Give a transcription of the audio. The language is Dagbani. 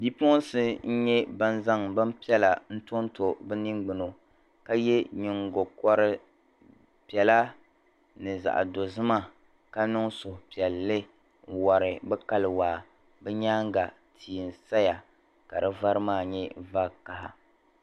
Bipuɣinsi n-nyɛ ban zaŋ bimpiɛla n-tonto bɛ niŋgbuna ka ye nyiŋgokɔr' piɛla ni zaɣ' dozima ka niŋ suhupiɛlli n-wari bɛ kali waa. Bɛ nyaaŋga tia n-saya ka di vari maa nyɛ vakaha.